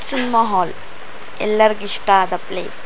cinema hall ಎಲ್ಲರ್ಗ್ ಇಷ್ಟ ಆದ ಪ್ಲೇಸ್ --